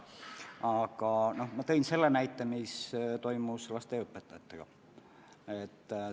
Aga ma tõin näite, mis toimus lasteaiaõpetajate palkadega.